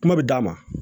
Kuma bɛ d'a ma